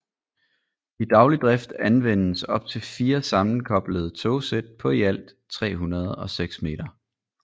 I daglig drift anvendes op til fire sammenkoblede togsæt på i alt 306 meter